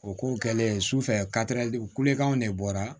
O ko kɛlen sufɛ kulekan de bɔra